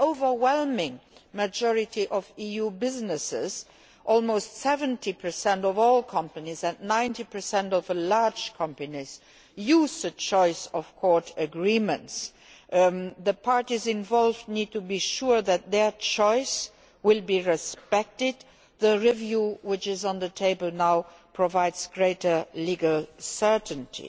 The overwhelming majority of EU businesses almost 70 of all companies and 90 of large companies use choice of court agreements. The parties involved need to be sure that their choice will be respected the review which is on the table now provides greater legal certainty.